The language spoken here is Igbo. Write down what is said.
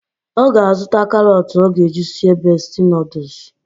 Ọ ga-azụta karọt ọ ga-eji sie besti nọdụs